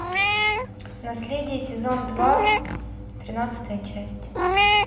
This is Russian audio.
наследие сезон два тринадцатая часть